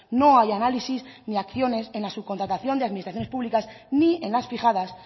no hay análisis ni acciones en la subcontratación de las administraciones públicas ni en las fijadas